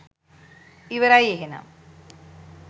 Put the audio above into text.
ඉවරයි එහෙනම්